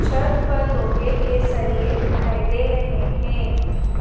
छत पर लोहे के सरियें दिखाई दे रहें हैं।